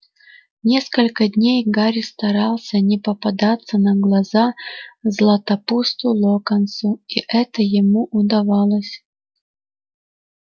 несколько дней гарри старался не попадаться на глаза златопусту локонсу и это ему удавалось